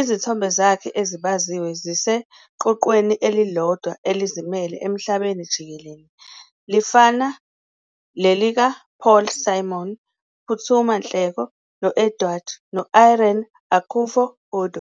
Izithombe zakhe ezibaziwe ziseqoqweni elilodwa elizimele emhlabeni jikelele, lifana lelikaPaul Simon, uPhuthuma Nhleko, no-Edward no-Irene Akufo-Addo.